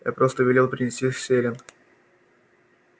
я просто велел принести селен